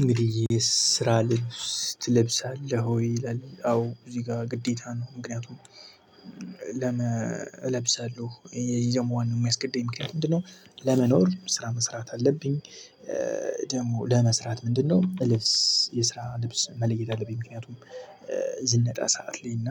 እንግዲህ የስራ ልብስ ትለብሳለህ ወይ? ይላለ አዎ እዚህ ጋር ግዴታ ነው። ምክንያቱም ለመ እለብሳለሁ የየመዋን የማስገደይ ምክንያት ምንድነው? ለመኖር ስራ መስራት አለብኝ። ደግሞ ለመስራት ምንድነው? እልብስ የስራ ልብስ መለየት አለብኝ። ምክንያቱም ዝነጣ ሰዓት ላይ እና